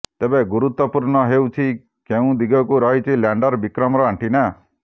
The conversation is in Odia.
ତେବେ ଗୁରୁତ୍ୱପୂର୍ଣ୍ଣ ହେଉଛି କେଉଁ ଦିଗକୁ ରହିଛି ଲ୍ୟାଣ୍ଡର ବିକ୍ରମର ଆଣ୍ଟିନା